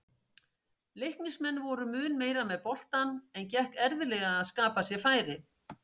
Leiknismenn voru mun meira með boltann en gekk erfiðlega að skapa sér færi.